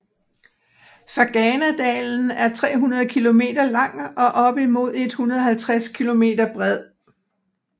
Ferganadalen er 300 km lang og op imod 150 km bred